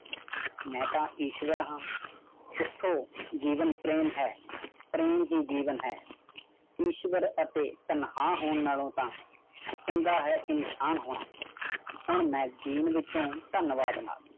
ਮੈਂ ਤਾਂ ਈਸ਼ਵਰ ਹਾਂ। ਉਥੋਂ, ਜੀਵਨ ਪ੍ਰੇਮ ਹੈਂ। ਪ੍ਰੇਮ ਹੀ ਜੀਵਨ ਹੈ। ਈਸ਼ਵਰ ਅਤੇ ਤਨਹਾ ਹੋਣ ਨਾਲੋਂ ਤਾ ਚੰਗਾ ਹੈ ਇਨਸ਼ਾਨ ਹੋਣਾ। ਹੁਣ magazine ਵਿੱਚੋ ਧਨਵਾਦ।